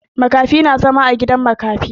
Makafi na zama a gidan makafi.